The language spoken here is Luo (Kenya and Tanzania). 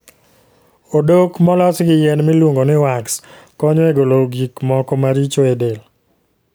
Odok molos gi yien miluongo ni wax konyo e golo gik moko maricho e del.